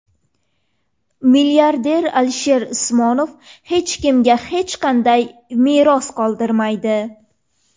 Milliarder Alisher Usmonov hech kimga hech qanday meros qoldirmaydi.